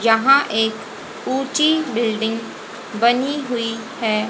जहां एक ऊंची बिल्डिंग बनी हुई हैं।